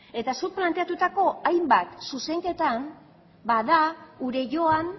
eta zuk planteatutako hainbat zuzenketan da gure joan